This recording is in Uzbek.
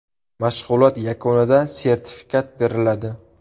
Mashg‘ulot yakunida sertifikat beriladi.